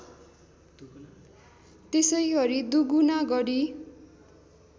त्यसै गरी दुगुना गढी